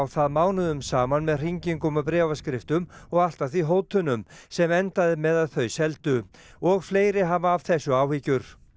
það mánuðum saman með hringingum og bréfaskriftum og allt að því hótunum sem endaði með að þau seldu og fleiri hafa af þessu áhyggjur